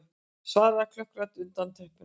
svaraði klökk rödd undan teppinu.